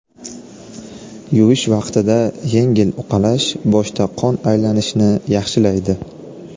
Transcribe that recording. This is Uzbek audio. Yuvish vaqtida yengil uqalash boshda qon aylanishni yaxshilaydi.